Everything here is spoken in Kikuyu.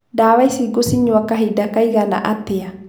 Ndawa ici ngũcinyua kahinda kaigana atĩa?.